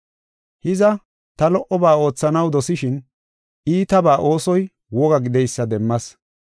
Hiza, ta lo77oba oothanaw dosishin, iitabaa oosoy woga gideysa demmas.